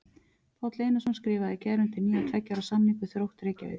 Páll Einarsson skrifaði í gær undir nýjan tveggja ára samning við Þrótt Reykjavík.